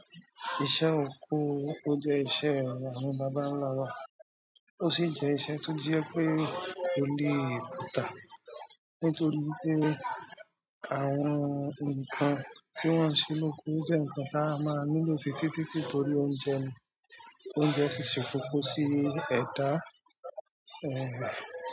Iṣẹ́ oko jẹ́ iṣẹ́ àwọn bàbá ńlá wa, ó sì jẹ́ iṣẹ́ tó jẹ pé kò lè kùtà nítorí wipé àwọn ǹkan tí wọ́n ń ṣe lóko jẹ́ ǹkan tí a máa nílò títí títí torí oúnjẹ ni ó ń jẹ́ sísè kókó sí ẹ̀dá.